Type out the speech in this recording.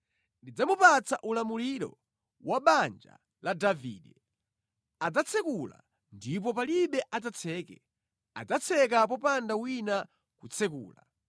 Ndidzamupatsa ulamuliro wa banja la Davide. Adzatsekula ndipo palibe adzatseke, adzatseka popanda wina kutsekula.